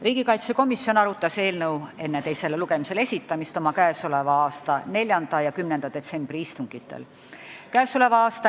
Riigikaitsekomisjon arutas eelnõu enne teisele lugemisele esitamist oma 4. ja 10. detsembri istungil.